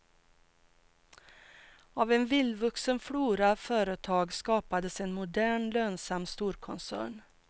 Av en vildvuxen flora företag skapades en modern, lönsam storkoncern.